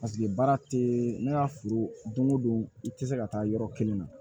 Paseke baara tɛ ne ka foro don o don i tɛ se ka taa yɔrɔ kelen na